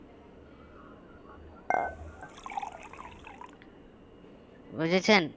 বুঝেছেন